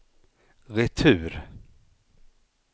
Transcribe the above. retur